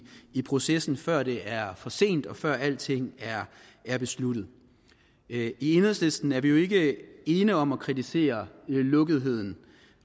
i processen før det er for sent og før alting er besluttet enhedslisten er jo ikke ene om at kritisere lukketheden